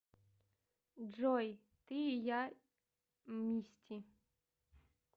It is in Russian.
джой ты и я мисти